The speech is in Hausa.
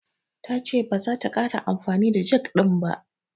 Ta ce baza ta ƙara amfani da jag ɗin ba.